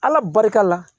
Ala barika la